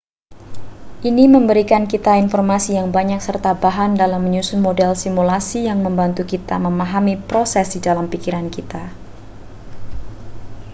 ini memberikan kita informasi yang banyak serta bahan dalam menyusun model simulasi yang membantu kita memahami proses di dalam pikiran kita